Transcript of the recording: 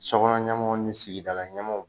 Sokɔnɔ ɲɛmɔw ni sigidala ɲɛmɔgɔw